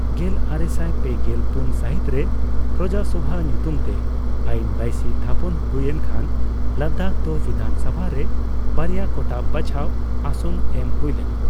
ᱜᱮᱞᱟᱨᱮᱥᱟᱭ ᱯᱮᱜᱮᱞ ᱯᱩᱱ ᱥᱟᱹᱦᱤᱛ ᱨᱮ ᱯᱨᱚᱡᱟ ᱥᱚᱵᱷᱟ ᱧᱩᱛᱩᱢᱛᱮ ᱟᱹᱭᱤᱱ ᱵᱟᱹᱭᱥᱤ ᱛᱷᱟᱯᱚᱱ ᱦᱩᱭᱮᱱ ᱠᱷᱟᱱ, ᱞᱟᱫᱟᱠᱷ ᱫᱚ ᱵᱤᱫᱷᱟᱱᱥᱚᱵᱷᱟ ᱨᱮ ᱵᱟᱨᱭᱟ ᱠᱚᱴᱟᱵ ᱵᱟᱪᱷᱟᱣ ᱟᱥᱚᱱ ᱮᱢᱦᱩᱭ ᱞᱮᱱᱟ ᱾